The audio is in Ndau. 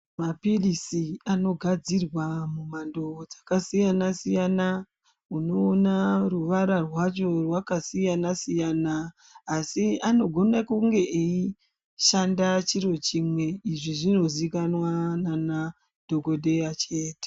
Mapirizi anogadzirwa mumhando dzakasiyana siyana unoona ruvara rwacho rwakasiyana siyana asi anogone kunge eishanda chiro chimwe izvi zvinozikanwa nanadhokodheya chete.